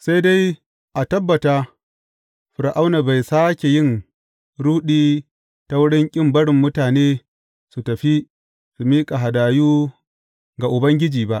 Sai dai a tabbata Fir’auna bai sāke yin ruɗi ta wurin ƙin barin mutane su tafi su miƙa hadayu ga Ubangiji ba.